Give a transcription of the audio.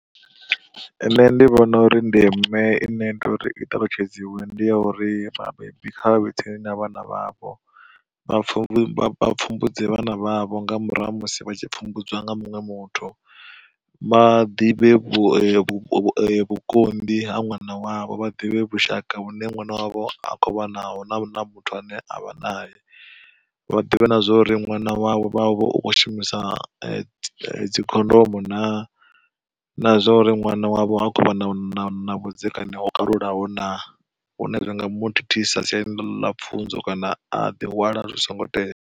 Nṋe ndi vhona uri ndeme ine i tea uri i ṱalutshedziwe ndi ya uri vhabebi kha vha vhe tsini na vhana vhavho vha pfhumbudzwa pfumbudze vhana vhavho, nga murahu ha musi vha tshi pfumbudziwa nga munwe muthu. Vha ḓivhe vhukonḓi ha ṅwana wavho, vha ḓivhe vhushaka vhune ṅwana wavho a kho vha naho na muthu ane avha nae. Vhaḓivhe na zwa uri ṅwana wavho u kho shumisa dzikhondomo na, na zwa uri ṅwana wavho ha khou vha na vhudzekani ho kalulaho na, hune hanga muthithisa siani ḽa pfunzo kana a ḓihwala zwi songo tea.